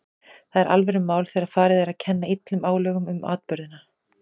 Það er alvörumál þegar farið er að kenna illum álögum um atburðina.